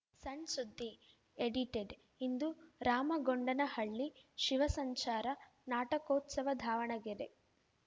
ಸಣ್‌ ಸುದ್ದಿ ಎಡಿಟೆಡ್‌ ಇಂದು ರಾಮಗೊಂಡನಹಳ್ಳಿ ಶಿವಸಂಚಾರ ನಾಟಕೋತ್ಸವ ದಾವಣಗೆರೆ